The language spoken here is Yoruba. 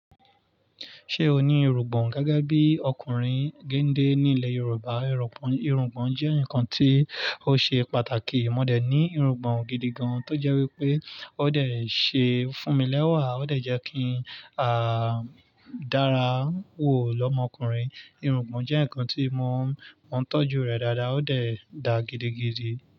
Ṣé o ní irungbọ̀n? Gẹ́gẹ́ bí ọkùnrin gende nílẹ̀ Yorùbá, irungbọ̀n jẹ́ nǹkan tí ó ṣe pàtàkì. Mo dẹ̀ ní irungbọ̀n gidi gan, tó jẹ́ wípé ó dẹ̀ ṣe fún mi lẹ́wà, ó dẹ̀ jẹ́ kí a dára wò lọ́mọkùnrin. Irungbọ̀n jẹ́ ǹkan tí mo ń tọ́jú rẹ̀ dáadáa, ó dẹ̀ dá gidigidi.